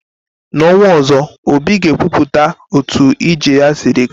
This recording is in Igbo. N'ọnwa ọzọ, obi ga ekwupụta otu ije ya sịrị ga.